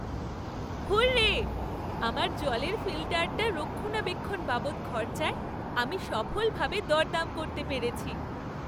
Hurray, আমার জলের ফিল্টারটার রক্ষণাবেক্ষণ বাবদ খরচায় আমি সফলভাবে দরদাম করতে পেরেছি।